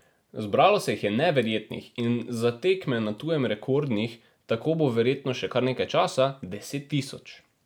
Zbralo se jih je neverjetnih in za tekme na tujem rekordnih, tako bo verjetno še kar nekaj časa, deset tisoč.